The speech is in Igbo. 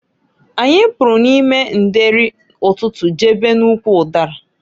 Anyị pụrụ n'ime ndeeri ụtụtụ jebe n'ụkwụ ụdara.